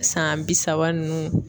San bi saba nunnu.